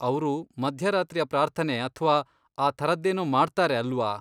ಅವ್ರು ಮಧ್ಯರಾತ್ರಿಯ ಪ್ರಾರ್ಥನೆ ಅಥ್ವಾ ಆ ಥರದ್ದೇನೋ ಮಾಡ್ತಾರೆ ಅಲ್ವಾ?